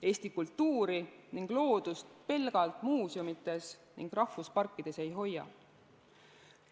Eesti kultuuri ning loodust pelgalt muuseumides ja rahvusparkides ei hoia.